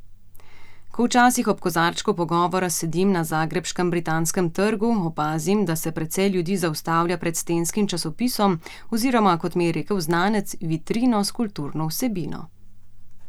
Ko včasih ob kozarčku pogovora sedim na zagrebškem Britanskem trgu, opazim, da se precej ljudi zaustavlja pred stenskim časopisom oziroma, kot mi je rekel znanec, vitrino s kulturno vsebino.